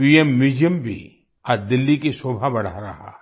PM museum भी आज दिल्ली की शोभा बढ़ा रहा है